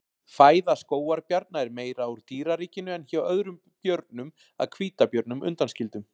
fæða skógarbjarna er meira úr dýraríkinu en hjá öðrum björnum að hvítabjörnum undanskildum